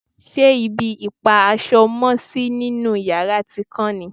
ṣe ibi ìpa aṣọ mọ́sí nínú yàrá ti kán ni?